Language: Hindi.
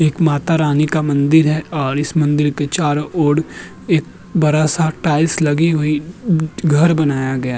एक माता रानी का मंदिर है और इस मंदिर के चारो ओड एक बरा सा टाइल्स लगी हुई न् घर बनाया गया --